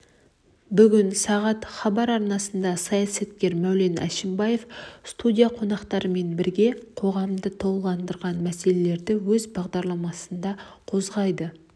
бүгін сағат хабар арнасында саясаткер мәулен әшімбаев студия қонақтарымен бірге қоғамды толғандыратын мәселелерді өз бағдарламасында қозғайды